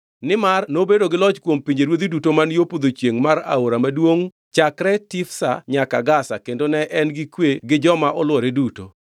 Nimar nobedo gi loch kuom pinjeruodhi duto man yo podho chiengʼ mar Aora maduongʼ chakre Tifsa nyaka Gaza kendo ne en gi kwe gi joma olwore duto.